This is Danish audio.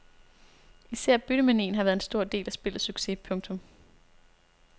Især byttemanien har været en stor del af spillets succes. punktum